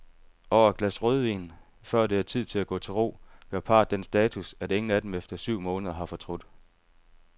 Over et glas rødvin, før det er tid at gå til ro, gør parret den status, at ingen af dem efter syv måneder har fortrudt.